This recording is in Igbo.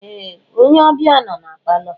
Ee! Onye ọbịa nọ na palọ.